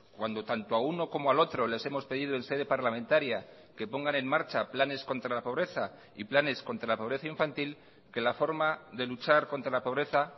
cuando tanto a uno como al otro les hemos pedido en sede parlamentaria que pongan en marcha planes contra la pobreza y planes contra la pobreza infantil que la forma de luchar contra la pobreza